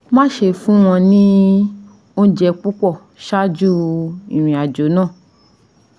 Má ṣe fún wọn ní oúnjẹ púpọ̀ ṣáájú ìrìn-àjò náà